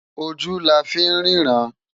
Ójú lá fi n rirãn